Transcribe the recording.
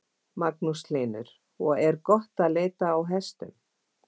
Magnús Hlynur: Og er gott að leita á hestum?